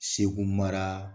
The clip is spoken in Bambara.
Segu mara